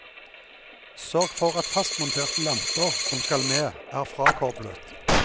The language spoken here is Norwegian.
Sørg for at fastmonterte lamper som skal med, er frakoblet.